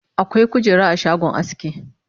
akwai kujera a shagon aski